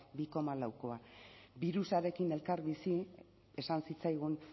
bi koma laukoa birusarekin elkarbizi esan zitzaigun